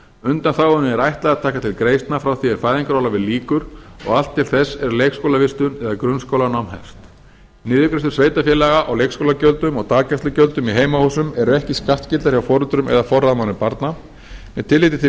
undanþágunni er ætlað að taka til greiðslna frá því er fæðingarorlofi lýkur og allt til þess er leikskólavistun eða grunnskólanám hefst niðurgreiðslur sveitarfélaga á leikskólagjöldum og daggreiðslugjöldum í heimahúsum eru ekki skattskyldar hjá foreldrum eða forráðamönnum barna með tilliti til